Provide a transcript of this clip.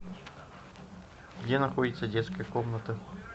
где находится детская комната